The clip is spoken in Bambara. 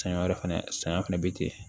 Saɲɔ wɛrɛ fɛnɛ sɛgɛn fɛnɛ be ten